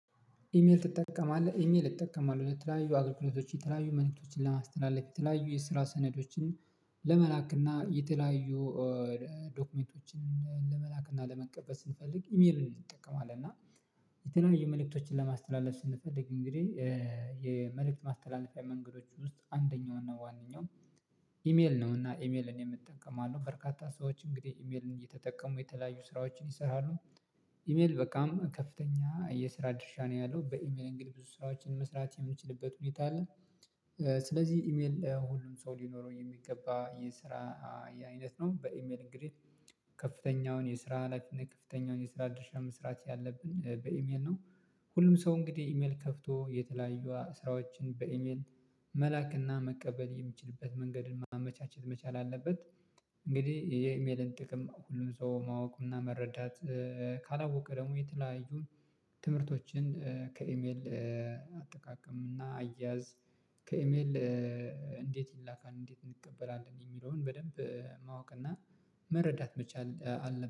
ኢሜል ትጠቀማለህ ኢሜል እጠቀማለሁ ለተለያዩ አግልግሎቶች የተለያዩ መልእክቶችን ለማስተላለፍ የተለያዩ የስራ ሰነዶችን ለመላክና የተለያዩ ዶክመንቶችን ለመላክና ለመቀበል ስንፈልግ ኢሜልን ይጠቀማል። እና የተለያየ መልእክቶችን ለማስተላለፍ ስንፈልግ እንግዲህ የመልእክት ማስተላለፊያ መንገዶች ውስጥ አንደኛው እና ዋነኛው ኢሜል ነው። እና ኢሜል እኔም እጠቀማለሁ በርካታ ሰዎች እንግዲህ ኢሜልን እየተጠቀሙ የተለያዩ ስራዎችን ይሰራሉ። ኢሜል በቃም ከፍተኛ የስራ ድርሻ ነው ያለው በኢሜል እንግዲህ ብዙ ስራዎችን መስራት የምንችልበት ሁኔታ አለ። ስለዚህ ኢሜል ለሁሉም ሰው ሊኖረው የሚገባ የስራ አይነት ነው። በኢሜል እንግዲህ ከፍተኛውን የስራ ላይፍን ከፍተኛውን የስራ ድርሻ መስራት ያለብን በኢሜል ነው። ሁሉም ሰው እንግዲህ ኢሜል ከፍቶ የተለያዩ ስራዎችን በኢሜል መላክና መቀበል የሚችልበት መንገድን ማመቻቸት መቻል አለበት። እንግዲህ የኢሜልን ጥቅም ሁሉም ሰው ማወቁ እና መረዳት። ካላወቀ ደግሞ የተለያዩ ትምህርቶችን ከኢሜል አጠቃቀም እና አያያዝ ከኢሜል እንዴት ይላካል እንዴት እንቀበላለን የሚለውን በደንብ ማወቅ እና መረዳት መቻል። አለብ